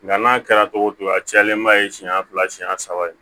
Nga n'a kɛra togo o togo a cɛlenba ye siɲɛ fila siɲɛ saba ye